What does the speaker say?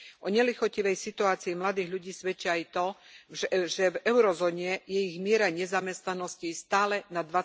O nelichotivej situácii mladých ľudí svedčí aj to, že v eurozóne je ich miera nezamestnanosti stále nad